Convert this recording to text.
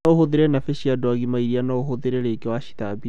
No ũhũthĩra nabĩ cia andũ agima ĩrĩa no ũhũthĩre ringĩ wacithambia